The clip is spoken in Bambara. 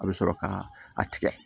A bɛ sɔrɔ ka a tigɛ